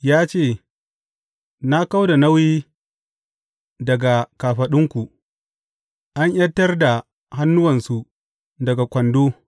Ya ce, Na kau da nauyi daga kafaɗunku; an ’yantar da hannuwansu daga kwando.